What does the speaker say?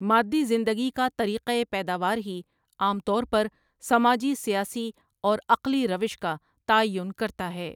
مادی زندگی کا طریقۂ پیداوار ہی عام طور پر سماجی، سیاسی اور عقلی روش کاتعین کرتا ہے ۔